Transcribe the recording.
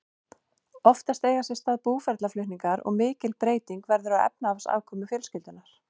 Oftast eiga sér stað búferlaflutningar og mikil breyting verður á efnahagsafkomu fjölskyldunnar.